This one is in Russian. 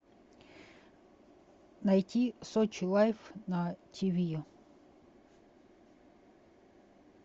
найти сочи лайф на тиви